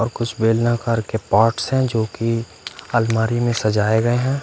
और कुछ बेलनाकार के पार्ट्स है जोकि अलमारी में सजाए गयए है।